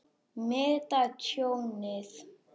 Meta tjónið.